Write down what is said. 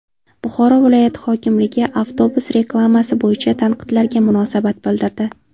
Buxoro viloyati hokimligi avtobus reklamasi bo‘yicha tanqidlarga munosabat bildirdi.